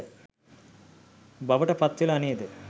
බවට පත්වෙලා නේද?